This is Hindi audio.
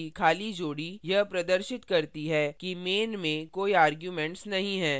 parentheses ब्रैकेट्स की खाली जोड़ी यह प्रदर्शित करती है कि main में कोई arguments नहीं है